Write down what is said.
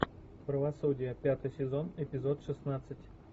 правосудие пятый сезон эпизод шестнадцать